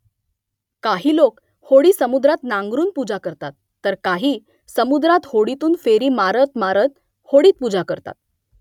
काही लोक होडी समुद्रात नांगरून पूजा करतात , तर काही समुद्रात होडीतून फेरी मारत मारत होडीत पूजा करतात